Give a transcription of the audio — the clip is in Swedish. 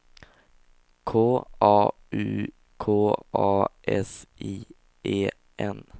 K A U K A S I E N